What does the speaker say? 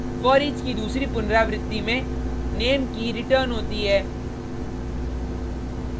foreach की दूसरी पुनरावृति में नेम कीkey रिटर्न होती है